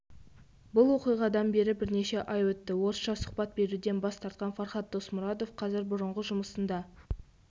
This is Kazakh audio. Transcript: бұл оқиғадан бері бірнеше ай өтті орысша сұхбат беруден бас тартқан фархад досмұратов қазір бұрынғы жұмысында